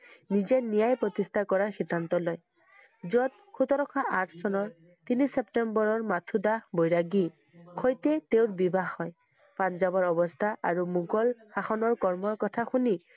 নিজেই ন্যায় প্ৰতিষ্ঠা কৰাৰ সিদ্ধান্ত লয়। য'ত সোতৰশ আঠ চনৰ তিনি ছেপ্তেম্বৰৰ মাথোঁ দাস বৈৰাগী হৈয়ে তেওঁৰ বিবাহ হয়। পাঞ্জাৱৰ অৱস্থা আৰু মোগল শাসনৰ কৰ্মৰ কথা শুনি,